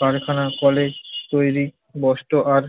কারখানা কলে তৈরি বস্ত্র আর